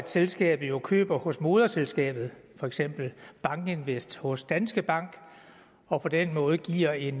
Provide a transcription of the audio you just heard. selskabet køber hos moderselskabet for eksempel bankinvest hos danske bank og på den måde giver et